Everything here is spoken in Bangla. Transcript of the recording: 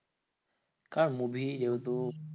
কার movie যেহেতু